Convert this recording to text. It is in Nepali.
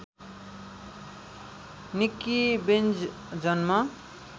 निक्की बेन्ज जन्म